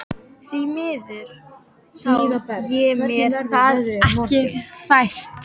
Því miður sá ég mér það ekki fært.